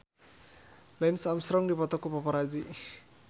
Lance Armstrong dipoto ku paparazi